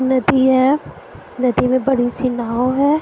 नदी है नदी में बड़ी सी नाव है।